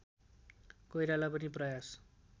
कोइराला पनि प्रयास